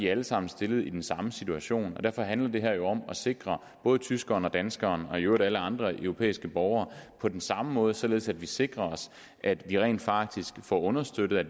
alle sammen stillet i den samme situation derfor handler det her jo om at sikre både tyskeren og danskeren og i øvrigt alle andre europæiske borgere på den samme måde således at vi sikrer os at vi rent faktisk får understøttet at